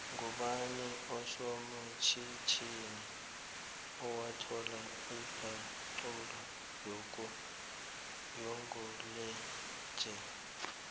ngubani osomatjhitjhini owathola ipaxula yokugulaejele